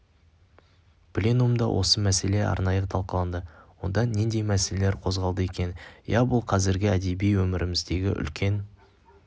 пленумда осы мәселе арнайы талқыланды онда нендей мәселелер қозғалды екен иә бұл қазіргі әдеби өміріміздегі үлкен